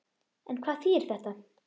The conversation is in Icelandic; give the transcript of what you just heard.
En hvað þýðir þetta?